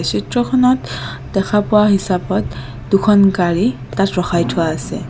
চিত্ৰখনত দেখা পোৱা হিচাপত দুখন গাড়ী তাত ৰখাই থোৱা আছে।